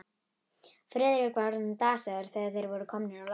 Friðrik var orðinn dasaður, þegar þeir voru komnir á loft.